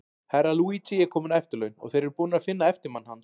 Herra Luigi er kominn á eftirlaun, og þeir eru búnir að finna eftirmann hans.